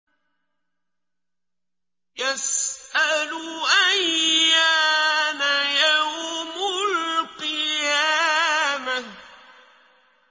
يَسْأَلُ أَيَّانَ يَوْمُ الْقِيَامَةِ